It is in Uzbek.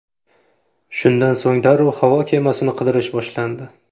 Shundan so‘ng darrov havo kemasini qidirish boshlandi.